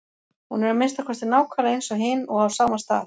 Hún er að minnsta kosti nákvæmlega eins og hin og á sama stað.